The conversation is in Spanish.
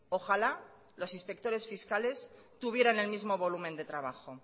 ojalá los inspectores fiscales tuvieran el mismo volumen de trabajo